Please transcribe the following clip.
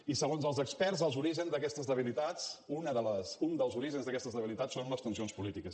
i segons els experts els orígens d’aquestes debilitats un dels orígens d’aquestes debilitats són les tensions polítiques